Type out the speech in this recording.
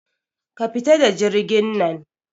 Ka fita da jirgin nan